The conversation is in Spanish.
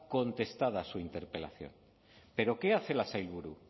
contestada su interpelación pero qué hace la sailburu